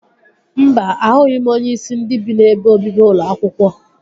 Mba, ahụghị m onyeisi ndị bi n'ebe obibi ụlọ akwụkwọ